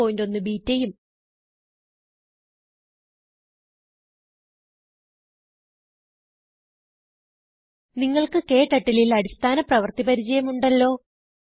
081 ബെട്ട ഉം നിങ്ങൾക്ക് ക്ടർട്ടിൽ ൽ അടിസ്ഥാന പ്രവർത്തി പരിചയം ഉണ്ടല്ലോ